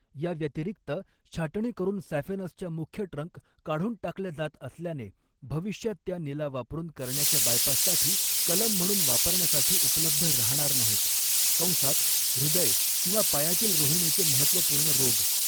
याव्यतिरिक्त, छाटणी करून सॅफेनसच्या मुख्य ट्रंक काढून टाकल्या जात असल्याने, भविष्यात त्या नीला वापरून करण्याच्या बायपाससाठी कलम म्हणून वापरण्यासाठी उपलब्ध राहणार नाहीत कंसात हृदय किंवा पायातील रोहिणीचे महत्त्वपूर्ण रोग.